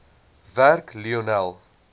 werk lionel